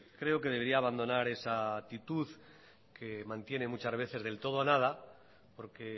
creo que debería abandonar esa actitud que mantiene muchas veces del todo o nada porque